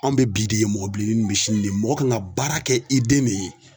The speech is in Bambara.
Anw bɛ bi de ye mɔgɔ bilenni nunnu bɛ sini de ye mɔgɔ kan ka baara kɛ i den de ye.